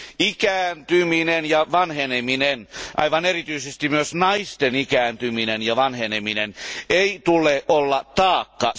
Ikääntymisen ja vanhenemisen, aivan erityisesti naisten ikääntymisen ja vanhenemisen, ei tule olla taakka.